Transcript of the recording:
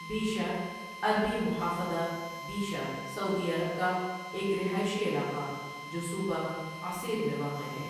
Bisha عربی محافظة بيشة سعودی عرب کا ایک رہائشی علاقہ جو صوبہ عسیر میں واقع ہے ۔